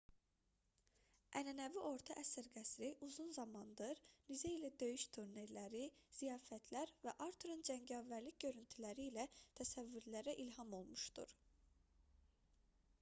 ənənəvi orta əsr qəsri uzun zamandır nizə ilə döyüş turnirləri ziyafətlər və arturun cəngavərlik görüntüləri ilə təsəvvürlərə ilham olmuşdur